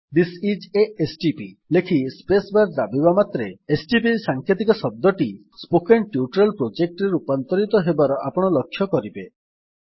this is a STP ଲେଖି space bar ଦାବିବା ମାତ୍ରେ ଏସଟିପି ସାଂକେତିକ ଶବ୍ଦଟି ସ୍ପୋକେନ୍ ଟ୍ୟୁଟୋରିଆଲ Projectରେ ରୂପାନ୍ତରିତ ହେବା ଆପଣ ଲକ୍ଷ୍ୟ କରିବେ